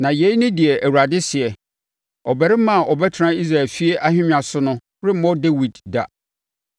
Na yei ne deɛ Awurade seɛ: ‘Ɔbarima a ɔbɛtena Israel efie ahennwa so no remmɔ Dawid da,